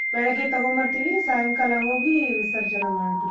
ಬೆಳಗ್ಗೆ ತಗೊಂಬರ್ತೀವಿ ಸಾಯಂಕಾಲ ಹೋಗಿ ವಿಸರ್ಜನೆ ಮಾಡ್ಬಿಡ್ತೇವಿ.